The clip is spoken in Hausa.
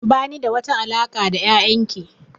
Ba ni da wata alaƙa da yayan ki